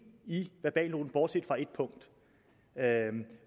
i verbalnoten bortset fra ét punkt